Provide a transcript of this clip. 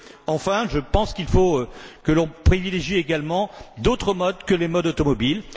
Enfin, je pense qu'il faut que l'on privilégie également d'autres modes que les modes automobiles.